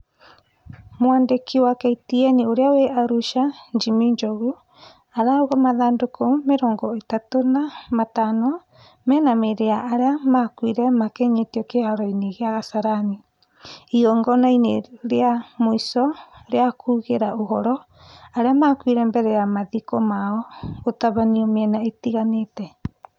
Mwandĩki wa KTN ũrĩa wĩ Arusha Jimmy Njogu arauga mathandũkũ mĩrongo ĩtatũ na matano mena mĩrĩ ya arĩa makuire makinyĩtio kĩharo-inĩ gia Kasarani , igongona-inĩ rĩa muico rĩa kugĩra ũhoro arĩa makuire mbere ya mathiko mao gũtabanio mĩena ĩtiganĩte